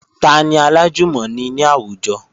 Tani alájùmọ̀ni ní àwùjọ?